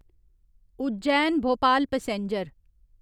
Ujjain Bhopal passenger